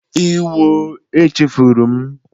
Ewo! Echefuru m